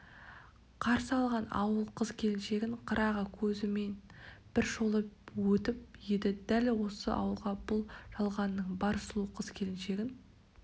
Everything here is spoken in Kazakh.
қарсы алған ауыл қыз-келіншегін қырағы көзімен бір шолып өтіп еді дәл осы ауылға бұл жалғанның бар сұлу қыз-келіншегін